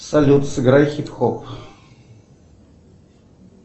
салют сыграй хип хоп